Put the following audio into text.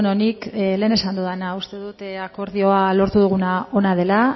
nik lehen esan dudana uste dut akordioa lortu duguna ona dela